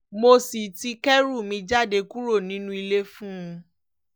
mo sì ti kẹ́rù mi jáde kúrò nínú ilé fún un